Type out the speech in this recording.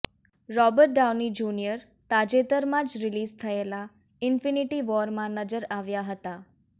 Robert Downey junior તાજેતરમાં જ release થયેલી ઈન્ફીનિટી વોરમાં નજર આવ્યા હતા